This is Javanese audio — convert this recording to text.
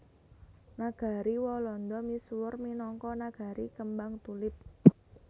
Nagari Walanda misuwur minangka nagari kembang tulip